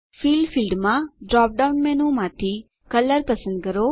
fill ફીલ્ડમાં drop down મેનૂમાંથી colour પસંદ કરો